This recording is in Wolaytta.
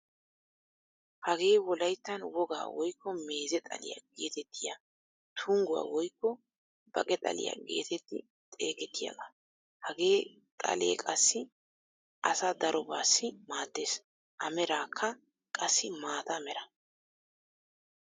Hagee wolayttaan wogaa woykko meeze xaliyaa getettiyaa tungguwaa woykko baqe xaliyaa getetti xegettiyaagaa. Hagee xaalee qassi asaa darobassi maaddees. A merakka qassi maata mera.